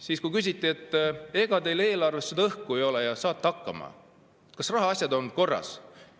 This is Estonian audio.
Siis küsiti, ega teil eelarves õhku ei ole, kas saate hakkama, kas rahaasjad on korras.